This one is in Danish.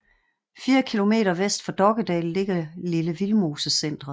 Fire kilometer vest for Dokkedal ligger Lille Vildmosecentret